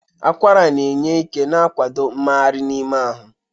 Akwara na-enye ike na ikwado mmegharị n'ime ahụ.